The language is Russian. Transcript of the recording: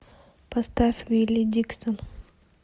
поставь вилли диксон